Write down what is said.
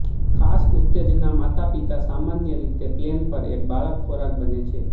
ખાસ ઉત્તેજના માતાપિતા સામાન્ય રીતે પ્લેન પર એક બાળક ખોરાક બને છે